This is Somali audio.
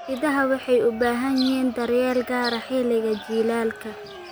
Idaha waxay u baahan yihiin daryeel gaar ah xilliga jiilaalka.